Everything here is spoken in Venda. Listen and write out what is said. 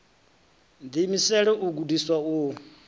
ḓi imisela u gudiswa u